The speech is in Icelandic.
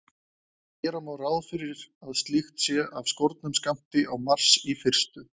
Gera má ráð fyrir að slíkt sé af skornum skammti á Mars í fyrstu.